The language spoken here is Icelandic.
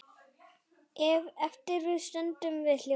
Eftir stöndum við hljóð.